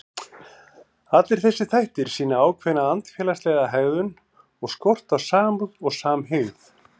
Allir þessir þættir sýna ákveðna andfélagslega hegðun og skort á samúð og samhygð.